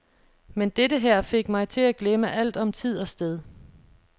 Men dette her fik mig til at glemme alt om tid og sted.